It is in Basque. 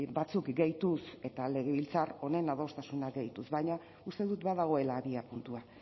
batzuk gehituz eta legebiltzar honen adostasuna gehituz baina uste dut badagoela abiapuntua